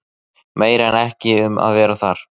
Meira er ekki um að vera þar.